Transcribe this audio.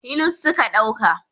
hilus suka dauka